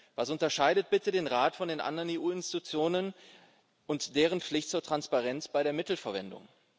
Was unterscheidet bitte den Rat von den anderen EU Institutionen und deren Pflicht zur Transparenz bei der Mittelverwendung?